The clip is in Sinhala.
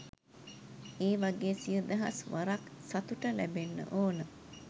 ඒ වගේ සිය දහස් වරක් සතුට ලැබෙන්න ඕන.